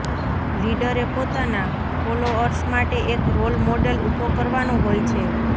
લીડરે પોતાના ફોલોઅર્સ માટે એક રોલ મોડેલ ઉભો કરવાનો હોય છે